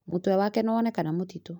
Mũtwe wake nĩwonekana mũtitũ